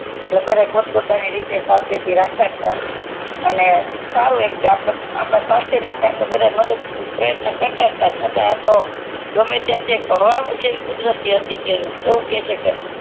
દરેક પોત પોતાની રીતે સાવચેતી રાખતા તાજ અને સારું એક કે આપડાં સ્વસ્થ માટે સારું પ્રયત્ન કરતાં તાજ છતાં આતો ગમે ત્યાંથી કુદરી કે છે કે